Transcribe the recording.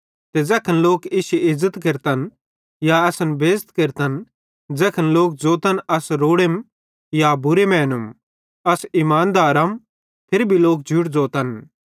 ते ज़ैखन लोक इश्शी इज़्ज़त केरतन या असन बेइज़त केरतन ज़ैखन लोक ज़ोतन अस रोड़ेम या बूरे मैनूम अस ईमानदारम फिरी भी लोक झूठ ज़ोतम